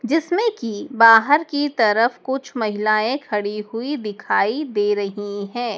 जिसमें कि बाहर की तरफ कुछ महिलाएं खड़ी हुई दिखाई दे रही है।